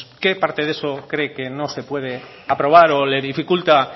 qué parte de eso cree que no se puede aprobar o le dificulta